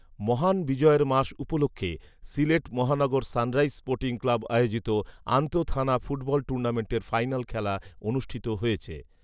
মহান বিজয়ের মাস উপলক্ষে সিলেট মহানগর সানরাইজ স্পোর্টিং ক্লাব আয়োজিত আন্তঃথানা ফুটবল টুর্নামেন্টের ফাইনাল খেলা অনুষ্ঠিত হয়েছে